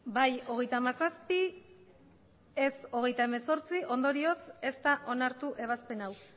bai hogeita hamazazpi ez hogeita hemezortzi ondorioz ez da onartu ebazpen hau